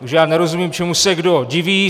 Takže já nerozumím, čemu se kdo diví.